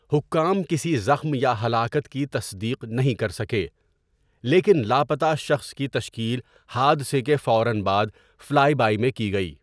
حکام کسی زخم یا ہلاکت کی تصدیق نہیں کر سکے، لیکن لاپتہ شخص کی تشکیل حادثے کے فوراً بعد فلائی بائی میں کی گئی۔